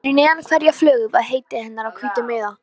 Fyrir neðan hverja flugu var heiti hennar á hvítum miða.